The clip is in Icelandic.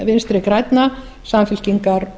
vinstri grænna samfylkingar